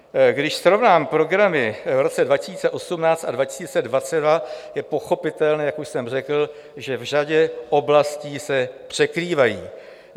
Když srovnám programy v roce 2018 a 2022, je pochopitelné, jak už jsem řekl, že v řadě oblastí se překrývají.